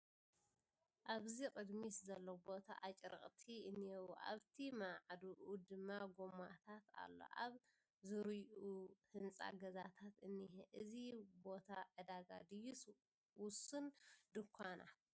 እብዚ ቕድሚት ዘሎ ቦታ ኣጭርቕቲ እንሄዉ አብቲ ማዕዱኡ ድማ ጎማታት ኣሎ ኣብ ዙሩዩኡ ህንፃ ገዛታት እንሄ እዚ ቦታ ዕዳጋ ድዩስ ውሱን ድንኳናት ?